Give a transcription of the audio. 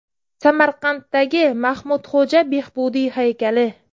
Samarqanddagi Mahmudxo‘ja Behbudiy haykali.